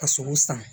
Ka sogo san